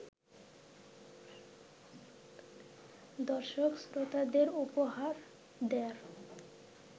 দর্শক-শ্রোতাদের উপহার দেয়ার